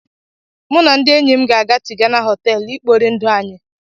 Mụ na ndị enyi m ga-aga Tigana họtelu ikpori ndụ anyị.